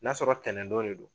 N'a sɔrɔ ntɛnɛn don de do